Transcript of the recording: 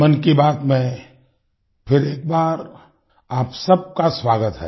मन की बात में फिर एक बार आप सबका स्वागत है